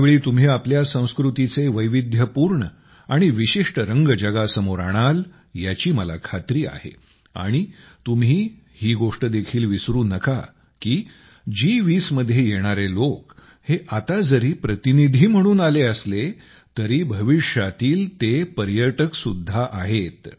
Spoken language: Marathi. यावेळी तुम्ही आपल्या संस्कृतीचे वैविध्यपूर्ण आणि विशिष्ट रंग जगासमोर आणाल याची मला खात्री आहे आणि तुम्ही हि गोष्ट देखील विसरू नका की जी20 मध्ये येणारे लोक हे आता जरी प्रतिनिधी म्हणून आले असले तरी तेही भविष्यातील पर्यटकच आहेत